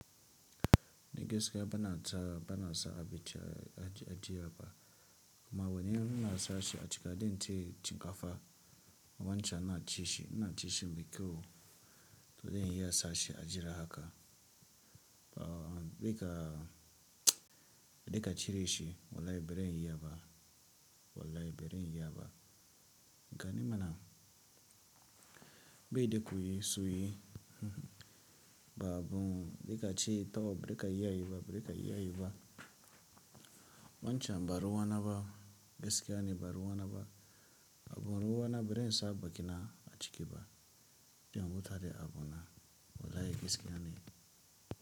A gaskiya bana tara banasa abinci a a jiyaba amma wai nima na sashi a cika dan cinkafa a wancan na ci shi na ci shi me kyau to dai in iya sashi a jira haka, ba duka a duka ciye shi wallahi baren iyaba wallahi baren iyaba gani mana baide kuyi suyoyi ba abun duka ci taɓa bare ka iya yiba barika iya yi ba wancan ba ruwana ba, gaskiya ne ba ruwana ba, abun ruwana bari in sa bakina a cikaba, in mutane abuna wallahi gaskiya ne.